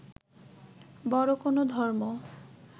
বড় কোন ধর্ম